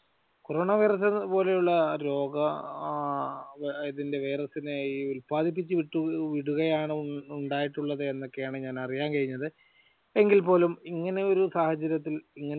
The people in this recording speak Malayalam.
കൊറോണ വൈറസ് പോലെയുള്ള രോഗം ഇതിന്റെ വൈറസിനെ ഈ ഉല്പാദിപ്പിച്ച് വിട്ടു വിടുകയാണ് ഉണ്ടായിട്ടുള്ളത് എന്നൊക്കെയാണ് ഞാൻ അറിയാൻ കഴിഞ്ഞത്. എങ്കിൽപോലും എങ്ങനെ ഒരു സാഹചര്യത്തിൽ